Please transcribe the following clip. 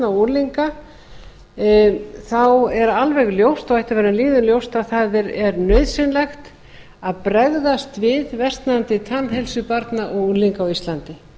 og unglinga þá er alveg ljóst og ætti að vera lýðum ljóst að það er nauðsynlegt að bregðast við versnandi tannheilsu barna og unglinga á íslandi